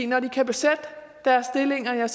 når de kan besætte deres stillinger